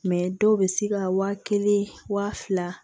dɔw bɛ se ka wa kelen wa fila